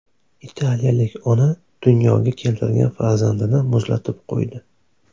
Italiyalik ona dunyoga keltirgan farzandini muzlatib qo‘ydi.